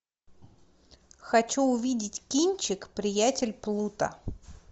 хочу увидеть кинчик приятель плута